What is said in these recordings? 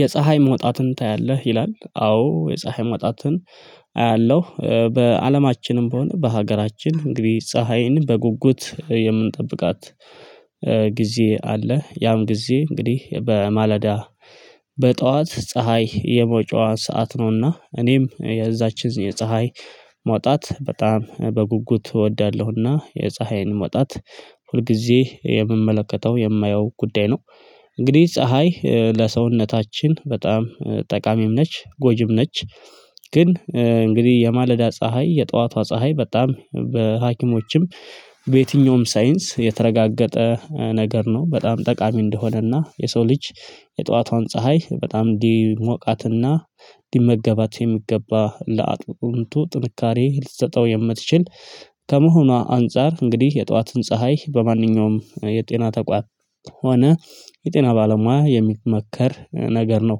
የፀሀይ መውጣትን ታያለህ ይላል? አዎ የፀሀይ መውጣትን አያለሁ በአለማችንም ቢሆነ በሀገራችን እንግዲህ ፀሀይን በጉጉት የምንጠብቃት ጊዜ አለ። ያም ጊዜ እንግዲህ በማለዳ በጧት ፀሀይ የመውጫዋ ሰዓት ነውና እኔም የዛችን የፀሀይ መውጣት በጣም በጉጉት እወዳለሁና የፀሀይን መውጣት ሁልጊዜ የምመለከተው የማየው ጉዳይ ነው። እንግዲህ ፀሀይ ለሰውነታችን በጣም ጠቃሚም ነች ጎጂም ነች። ግን እንግዲህ የማለዳ ፀሀይ የጧቷ ፀሀይ በጣም በሀኪሞችም በየትኛውም ሳይንስ የተረጋገጠ ነገር ነው በጣም ጠቃሚ እንደሆነና የሰው ልጅ የጧቷን ፀሀይ በጣም እንዲሞቃትና ሊመገባት የሚገባ ለአጥንቱ ጥንካሬ ልትሰጠው የምትችል ከመሆኗ አንፃር እንግዲህ የጠዋትን ፀሀይ በማንኛውም የጤና ተቋም ሆነ የጤና ባለሙያ የሚመከር ነገር ነው።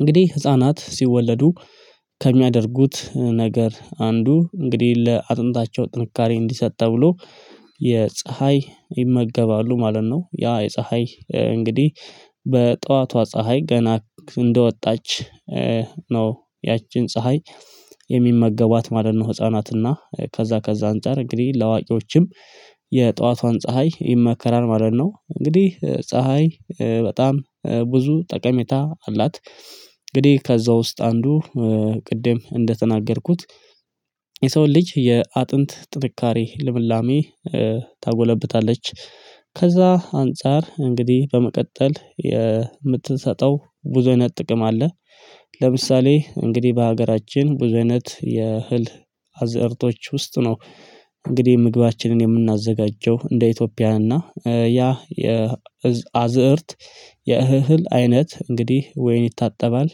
እንግዲህ ህፃናት ሲወለዱ ከሚያደርጉት ነገር አንዱ እንግዲህ ለአጥንታቸው ጥንካሬ እንዲሰጥ ተብሎ የፀሀይ ይመገባሉ ማለት ነው። ያ የፀሀይ እንግዲህ በጠዋቷ ፀሀይ ገና እንደወጣች ነው ያችን ፀሀይ የሚመገቧት ማለት ነው። ህፃናትና ከዛ ከዛ አንፃር እንግዲህ ለአዋቂዎችም የጠዋቷን ፀሀይ ይመከራል ማለት ነው። እንግዲህ ፀሀይ በጣም ብዙ ጠቀሜታ አላት። እንግዲህ ከዛ ውስጥ አንዱ ቅድም እንደተናገርኩት የሰውን ልጅ የአጥንት ጥንካሬ ልምላሜ ታጎለብታለች። ከዛ አንፃር እንግዲህ በመቀጠል የምትሰጠው ብዙ አይነት ጥቅም አለ። ለምሳሌ እንግዲህ በሀገራችን ብዙ አይነት የ እህል አዘርቶች ውስጥ ነው። እንግዲህ ምግባችንን የምናዘጋጀው እንደ ኢትዮጵያ እና ያ የአዝእርት የእህል አይነት እንግዲህ ወይ ይታጠባል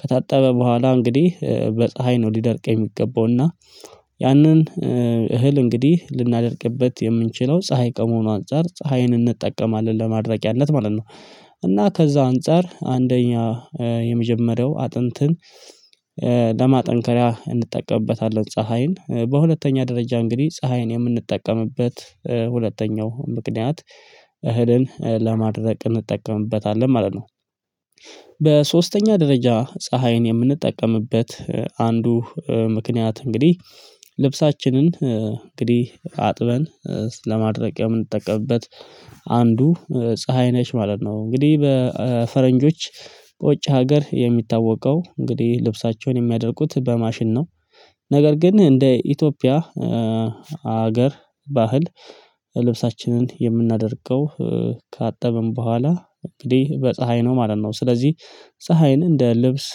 ከታጠበ በኋላ እንግዲህ በፀሀይ ነው ሊደርቅ የሚገባው እና ያንን እህል እንግዲህ ልናደርቅበት የምንችለው ፀሀይ ከመሆኑ አንፃር ፀሀይን እንጠቀማለን ለማድረቂያነት ማለት ነው። እና ከዛ አንፃር አንደኛ የመጀመሪያው አጥንትን ለማጠንከሪያ እንጠቀምበታለን ፀሀይን በሁለተኛ ደረጃ እንግዲህ ፀሀይን የምንጠቀምበት ሁለተኛው ምክንያት እህልን ለማድረቅ እንጠቀምበታለን ማለት ነው። በሶስተኛ ደረጃ ፀሀይን የምንጠቀምበት አንዱ ምክንያት እንግዲህ ልብሳችንን እንግዲህ አጥበን ለማድረቅ የምንጠቀምበት አንዱ ፀሀይ ነች ማለት ነው እንግዲህ። በፈረንጆች ውጭ ሀገር የሚታወቀው እንግዲህ ልብሳቸውን የሚያደርቁት በማሽን ነው። ነገር ግን እንደ ኢትዮጵያ ሀገር ባህል ልብሳችንን የምናደርቀው ካጠብን በኋላ እንግዲህ በፀሀይ ነው ማለት ነው። ስለዚህ ፀሀይን እንደ ልብስ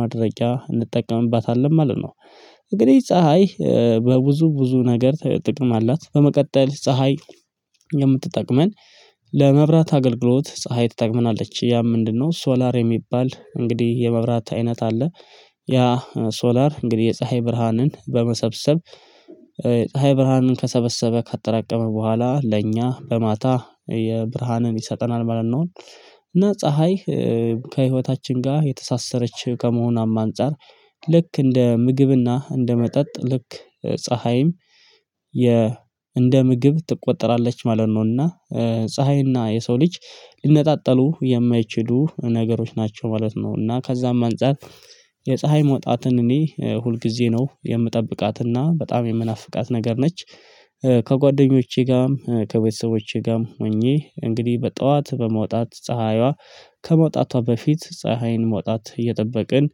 ማድረቂያ እንጠቀምባታለን ማለት ነው። እንግዲህ ፀሀይ በብዙ ብዙ ነገር ጥቅም አላት። በመቀጠል ፀሀይ የምትጠቅመን ለመብራት አገልግሎት ፀሀይ ትጠቅመናለች ያ ምንድነው? ሶላር የሚባል እንግዲህ የመብራት አይነት አለ። ያ ሶላር እንግዲህ የፀሀይ ብርሃንን በመሰብሰብ ፀሀይ ብርሃንን ከሰበሰበ ካጠራቀመ በኋላ ለኛ በማታ የብርሃንን ይሰጠናል ማለት ነው። እና ፀሀይ ከህይወታችን ጋር የተሳሰረች ከመሆኗም አንፃር ልክ እንደ ምግብና እንደ መጠጥ ልክ ፀሀይም እንደ ምግብ ትቆጠራለች ማለት ነው። እና ፀሀይና የሰው ልጅ ሊነጣጠሉ የማይችሉ ነገሮች ናቸው ማለት ነው። እና ከዛም አንፃር የፀሀይ መውጣትን እኔ ሁልጊዜ ነው የምጠብቃትና በጣም የምናፍቃት ነገር ነች። ከጓደኞቼ ጋርም ከቤተሰቦቼ ጋርም ሆኜ እንግዲህ በጠዋት በመውጣት ፀሀይዋ ከመውጣቷ በፊት ፀሀይን መውጣት እየጠበቅን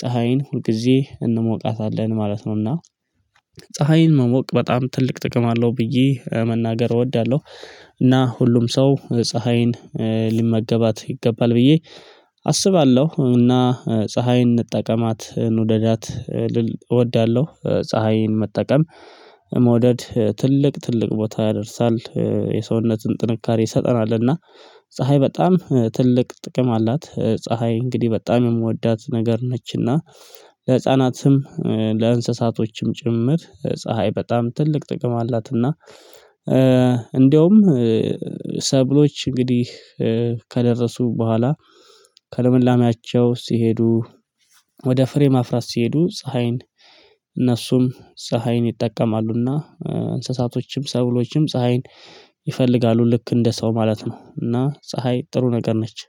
ፀሀይን ሁልጊዜ እንሞቃታለን ማለት ነውና። ፀሀይን መሞቅ በጣም ትልቅ ጥቅም አለው ብዬ መናገር እወዳለሁ። እና ሁሉም ሰው ፀሀይን ሊመገባት ይገባል ብዬ አስባለሁ። እና ፀሀይን እንጠቀማት እንውደዳት ልል እወዳለሁ ፀሀይን መጠቀም መውደድ ትልቅ ትልቅ ቦታ ያደርሳል። የሰውነትን ጥንካሬ ይሰጠናል እና ፀሀይ በጣም ትልቅ ጥቅም አላት። ፀሀይ እንግዲህ በጣም የምወዳት ነገር ነችና ለህፃናትም ለእንስሳቶችም ጭምር ፀሀይ በጣም ትልቅ ጥቅም አላትና። እንደውም ሰብሎች እንግዲህ ከደረሱ በኋላ ከልምላሜአቸው ሲሄዱ ወደ ፍሬ ማፍራት ሲሄዱ ፀሀይን እነሱም ፀሀይን ይጠቀማሉና እንስሳቶችም ሰብሎችም ፀሀይን ይፈልጋሉ ልክ እንደ ሰው ማለት ነው። እና ፀሀይ ጥሩ ነገር ነች።